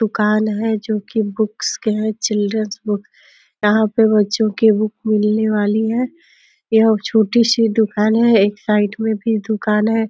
दुकान है जोकि बुक्स के हैं चिल्ड्रंस बुक यहाँ पे बच्चों की बुक मिलने वाली है। यह छोटी-सी दुकान है एक साइड में भी दुकान है।